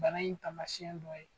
Bana in taamasiyɛn dɔ ye